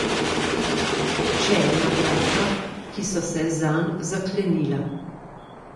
Še ena vrata, ki so se zanj zaklenila.